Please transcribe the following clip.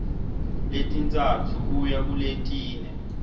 letintsatfu kuya kuletine